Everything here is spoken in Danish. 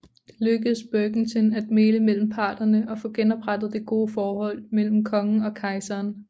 Det lykkedes Berckentin at mægle mellem parterne og få genoprettet det gode forhold mellem kongen og kejseren